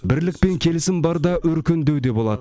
бірлік пен келісім барда өркендеу де болады